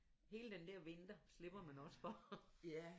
Hele den dér vinter slipper man også for